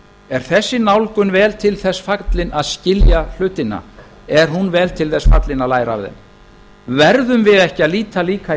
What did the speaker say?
er þessi nálgun vel til þess fallin að skilja hlutina er hún vel til þess fallin að læra af þeim verðum við ekki að líta líka í